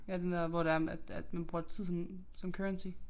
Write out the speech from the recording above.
Ja den der hvor det er at at man bruger tid som som currency